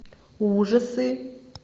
ужасы